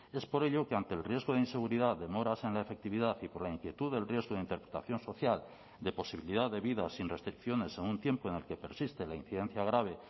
es por ello que ante el riesgo de inseguridad demoras en la efectividad y por la inquietud del riesgo de interpretación social de posibilidad de vida sin restricciones en un tiempo en el que persiste la incidencia grave